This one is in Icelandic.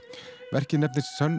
verkið nefnist